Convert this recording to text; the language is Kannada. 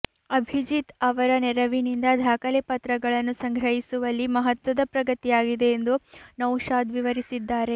ಅಭಿಜಿತ್ ಅವರ ನೆರವಿನಿಂದ ದಾಖಲೆಪತ್ರಗಳನ್ನು ಸಂಗ್ರಹಿಸುವಲ್ಲಿ ಮಹತ್ವದ ಪ್ರಗತಿಯಾಗಿದೆ ಎಂದು ನೌಶಾದ್ ವಿವರಿಸಿದ್ದಾರೆ